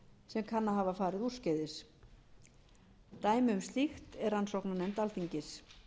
sem kann að hafa farið úrskeiðis dæmi um slíkt er rannsóknarnefnd alþingis